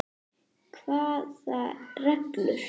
Hvaða reglur?